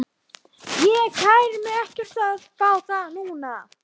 Ég kæri mig ekki um að fá þá núna.